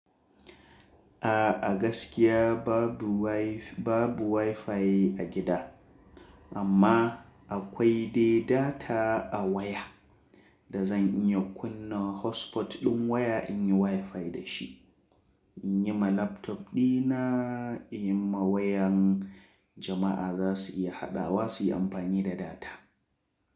A, a gaskiya babu Wi-Fi, babu Wi-Fi a gida amma akwai dai data a waya da zan iya kunna hotspot ɗin waya in yi Wi-Fi da shi. In yi ma laptop ɗina, in yi ma wayan jama’a za su iya haɗawa su yi amfani da data.